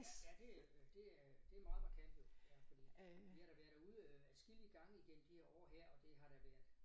Ja ja det øh det øh det meget markant jo ja fordi vi har da været derude øh adskillige gange igennem de her år her og det har da været